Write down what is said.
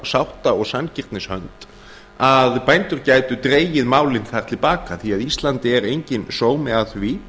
sátta og sanngirnishönd að bændur gætu dregið málið þar til baka því íslandi er enginn sómi að því